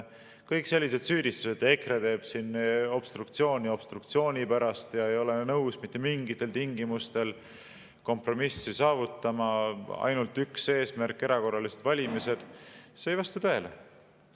Kõik sellised süüdistused, et EKRE teeb obstruktsiooni obstruktsiooni pärast ja ei ole nõus mitte mingitel tingimustel kompromissi saavutama, et on ainult üks eesmärk, erakorralised valimised – see ei vasta tõele.